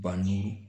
Ba ni